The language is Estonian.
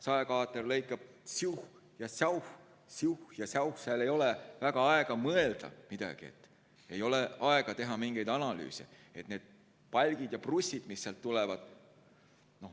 Saekaater lõikab siuh ja säuh, siuh ja säuh, seal ei ole väga aega mõelda midagi, ei ole aega teha mingeid analüüse.